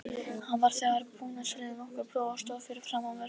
Hann var þegar búinn að selja nokkur blöð og stóð fyrir framan verslunina.